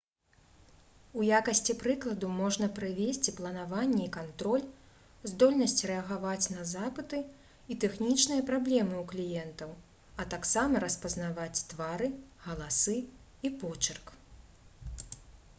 у якасці прыкладу можна прывесці планаванне і кантроль здольнасць рэагаваць на запыты і тэхнічныя праблемы ў кліентаў а таксама распазнаваць твары галасы і почырк